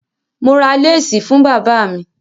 Mo ra láásì fún bàba mi.